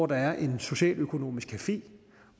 der er en socialøkonomisk café